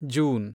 June